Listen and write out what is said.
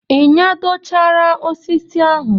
Ị nyadochara osisi ahụ?